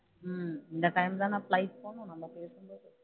இந்த time தான் நான் flight போகணும் நல்ல